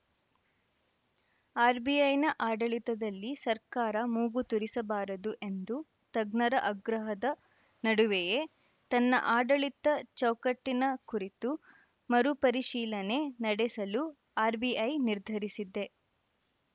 ಆರ್‌ಬಿಐನ ಆಡಳಿತದಲ್ಲಿ ಸರ್ಕಾರ ಮೂಗು ತೂರಿಸಬಾರದು ಎಂಬ ತಜ್ಞರ ಆಗ್ರಹದ ನಡುವೆಯೇ ತನ್ನ ಆಡಳಿತ ಚೌಕಟ್ಟಿನ ಕುರಿತು ಮರುಪರಿಶೀಲನೆ ನಡೆಸಲು ಆರ್‌ಬಿಐ ನಿರ್ಧರಿಸಿದೆ